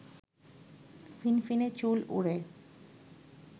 ফিনফিনে চুল ওড়ে